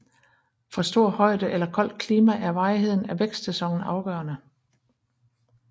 For stor højde eller koldt klima er varigheden af vækstsæsonen afgørende